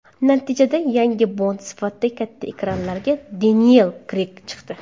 Natijada yangi Bond sifatida katta ekranlarga Deniyel Kreyg chiqdi.